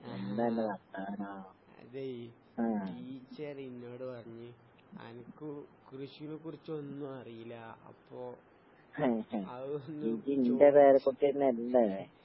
അതേ ടീച്ചർ ഇന്നോട് പറഞ്ഞ് അനക്ക് കൃഷീനെ കുറിച്ചൊന്നും അറിയില്ല. അപ്പൊ അതൊന്ന് ചോയിച്ചിട്ട്